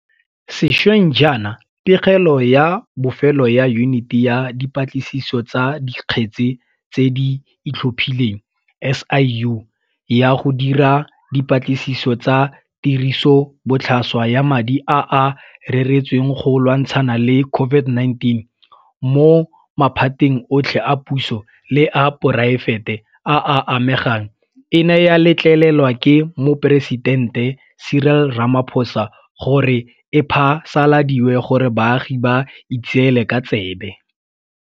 Sešweng jaana pegelo ya bofelo ya Yuniti ya Dipatlisiso tsa Dikgetse tse di Itlhophileng, SIU, ya go dira dipatlisiso tsa tirisobotlhaswa ya madi a a reretsweng go lwantshana le COVID-19 mo maphateng otlhe a puso le a poraefete a a amegang e ne ya letlelelwa ke Moporesitente Cyril Ramaphosa gore e phasaladiwe gore baagi ba itseele ka tsebe.